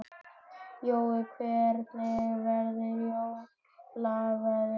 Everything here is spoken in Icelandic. Jói, hvernig verður jólaveðrið?